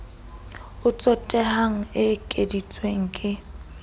o tsotehang e ekeditswe ke